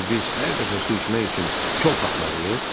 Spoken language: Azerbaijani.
İndi biz hər dəfə su içmək üçün kol tapmalıyıq?